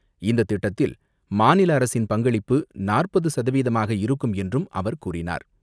இந்த திட்டத்தில் மாநில அரசின் பங்களிப்பு நாற்பது சதவீதமாக இருக்கும் என்றும் அவர் கூறினார்.